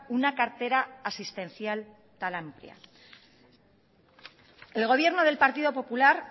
una cartera asistencial tan amplia el gobierno del partido popular